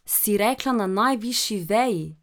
Si rekla na najvišji veji?